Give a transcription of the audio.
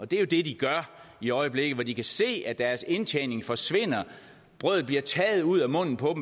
det er jo det de gør i øjeblikket hvor de kan se at deres indtjening forsvinder brødet bliver taget ud af munden på